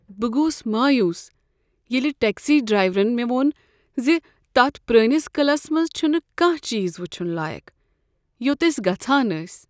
بہٕ گوس مایوس ییٚلہ ٹٮ۪کسی ڈرایورن مےٚ ووٚن ز تتھ پرٛٲنس قعلس منٛز چھُنہٕ كانٛہہ چیز وٕچُھن لایق، یوٚت أسۍ گژھان ٲسۍ۔